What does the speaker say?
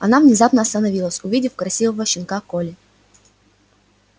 она внезапно остановилась увидев красивого щенка колли